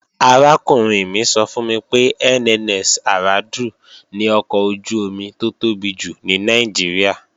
Arákùnrin mi sọ fún mi pé NNS Aradu ni ọkọ̀ ojú-omi tó tóbi jù ní Nàìjíríà